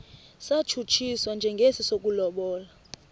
satshutshiswa njengesi sokulobola